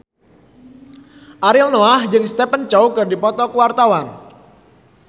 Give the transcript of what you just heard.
Ariel Noah jeung Stephen Chow keur dipoto ku wartawan